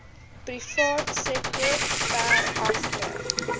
privaatsektor ver agter